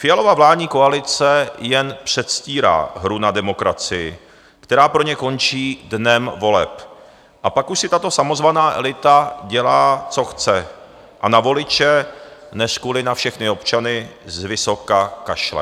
Fialova vládní koalice jen předstírá hru na demokracii, která pro ně končí dnem voleb, a pak už si tato samozvaná elita dělá, co chce, a na voliče, neřkuli na všechny občany, zvysoka kašle.